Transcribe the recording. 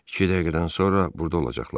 İki dəqiqədən sonra burda olacaqlar.